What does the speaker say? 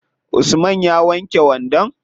Usman ya wanke wandon?